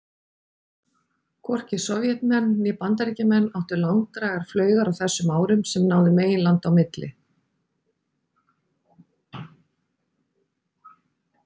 Hvorki Sovétmenn né Bandaríkjamenn áttu langdrægar flaugar á þessum árum sem náðu meginlanda á milli.